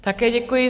Také děkuji.